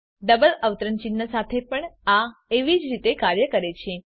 double અવતરણ ચિહ્ન સાથે પણ આ એવી જ રીતે કાર્ય કરે છે